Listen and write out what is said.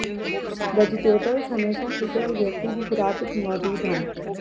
vegetables ਹਮੇਸ਼ਾ ਕਿਸੇ ਵੀ ਵਿਅਕਤੀ ਦੀ ਖੁਰਾਕ ਵਿੱਚ ਮੌਜੂਦ ਹਨ